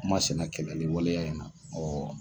U ma sɛnɛ ni waleya in na